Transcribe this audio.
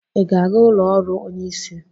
Ị ga-aga ụlọ ọrụ onyeisi?